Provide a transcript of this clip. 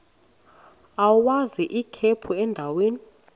agwaz ikhephu endaweni